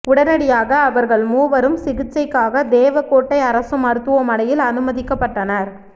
உடனடியாக அவர்கள் மூவரும் சிகிச்சைக்காக தேவகோட்டை அரசு மருத்துவமனையில் அனுமதிக்கப்பட்டனர்